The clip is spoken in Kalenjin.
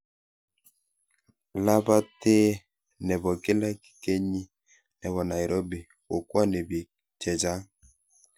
Labetee ne bo kila kenyii ne bo Nairobi kokwonii biik che chang.